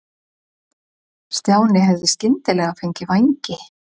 Stjáni hefði skyndilega fengið vængi.